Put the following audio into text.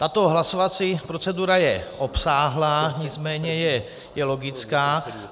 Tato hlasovací procedura je obsáhlá, nicméně je logická.